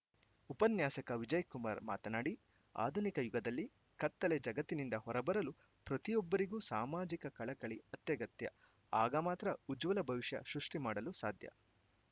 ಉಪನ್ಯಾಸಕ ವಿಜಯಕುಮಾರ್‌ ಮಾತನಾಡಿ ಆಧುನಿಕ ಯುಗದಲ್ಲಿ ಕತ್ತಲೆ ಜಗತ್ತಿನಿಂದ ಹೊರಬರಲು ಪ್ರತಿಯೊಬ್ಬರಿಗೂ ಸಾಮಾಜಿಕ ಕಳಕಳಿ ಅತ್ಯಗತ್ಯ ಆಗಮಾತ್ರ ಉಜ್ವಲ ಭವಿಷ್ಯ ಸೃಷ್ಠಿ ಮಾಡಲು ಸಾಧ್ಯ